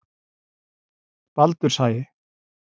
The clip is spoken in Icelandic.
Baldurshagi